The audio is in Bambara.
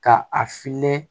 Ka a fiyɛ